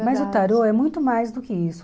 Mas o tarô é muito mais do que isso.